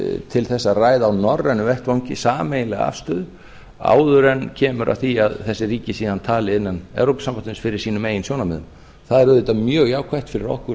til þess að ræða á norrænum vettvangi sameiginlega afstöðu áður en kemur að því að þessi ríki síðan tali innan evrópusambandsins fyrir sínum eigin sjónarmiðum það er auðvitað mjög jákvætt fyrir okkur